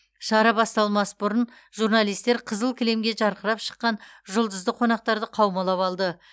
шара басталмас бұрын журналистер қызыл кілемге жарқырап шыққан жұлдызды қонақтарды қаумалап алды